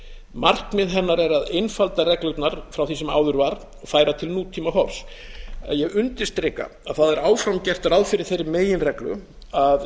markmið hennar er að einfalda reglurnar frá því sem áður var og færa til nútímahorfs ég undirstrika að það er áfram gert ráð fyrir þeirri meginreglu að